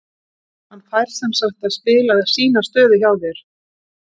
Hann fær semsagt að spila sína stöðu hjá þér?